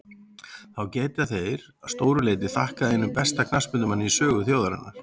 Því geta þeir að stóru leyti þakkað einum besta knattspyrnumanni í sögu þjóðarinnar.